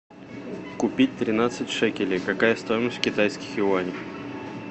купить тринадцать шекелей какая стоимость в китайских юанях